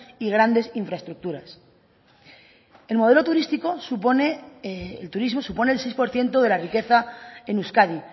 y grandes infraestructuras el turismo supone el seis por ciento de la riqueza en euskadi